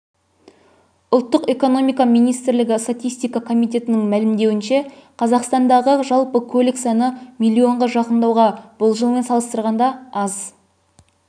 ұлттық экономика министрлігі статистика комитетінің мәлімдеуінше қазақстандағы жалпы көлік саны миллионға жақындауда бұл жылмен салыстырғанда аз